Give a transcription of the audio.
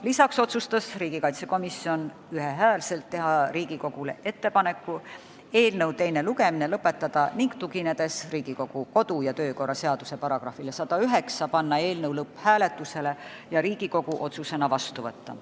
Lisaks otsustas komisjon ühehäälselt teha Riigikogule ettepaneku teine lugemine lõpetada ning tuginedes Riigikogu kodu- ja töökorra seaduse §-le 109, panna eelnõu lõpphääletusele ja Riigikogu otsusena vastu võtta.